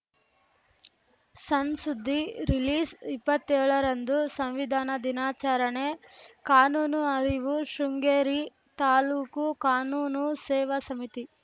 ಸಣ್‌ ಸುದ್ದಿ ರಿಲೀಸ್‌ಇಪ್ಪತ್ತೇಳರಂದು ಸಂವಿಧಾನ ದಿನಾಚರಣೆ ಕಾನೂನು ಅರಿವು ಶೃಂಗೇರಿ ತಾಲೂಕು ಕಾನೂನು ಸೇವಾ ಸಮಿತಿ